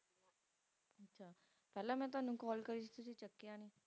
ਪਹਿਲਾਂ ਮੈਂ ਤੁਹਾਨੂੰ call ਕਰੀ ਸੀ ਤੁਸੀਂ ਚੁੱਕਿਆ ਨਹੀਂ